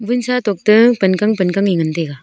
vunsa tok toh pankan pankan e ngan taiga.